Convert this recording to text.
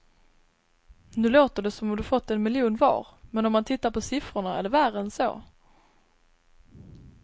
Nu låter det som om de fått en miljon var, men om man tittar på siffrorna är det värre än så.